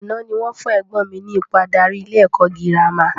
Àná ni wọ́n fún ẹ̀gbọ́n mi ní ipò adarí ilé ẹ̀kọ́ girama